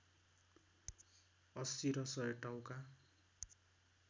अस्सी र सय टाउका